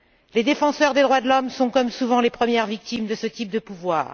Les défenseurs des droits de l'homme sont, comme souvent, les premières victimes de ce type de pouvoir.